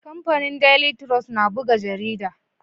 Kamfanin daily trust na buga jarida